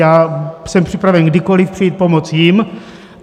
Já jsem připraven kdykoli přijít pomoct jim.